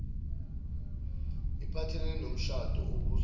iphathelene nomshado obuswa